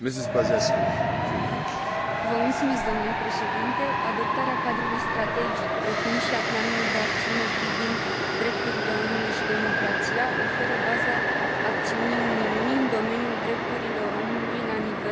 Adoptarea cadrului strategic, precum și a planului de acțiune privind drepturile omului și democrația, oferă baza acțiunii Uniunii în domeniul drepturilor omului la nivel global, însă eforturile noastre nu sunt de ajuns.